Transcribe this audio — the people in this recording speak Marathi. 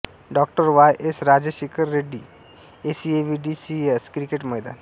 Dr Y S Rajashekhar Reddy ACA VDCA cricket Maidan